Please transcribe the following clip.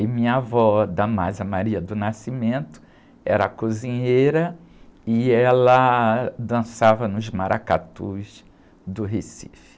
E minha avó, era cozinheira e ela dançava nos maracatus do Recife.